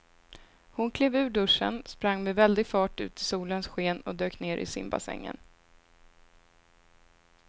Hon klev ur duschen, sprang med väldig fart ut i solens sken och dök ner i simbassängen.